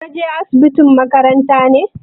Ka je asibitin makaranta ne?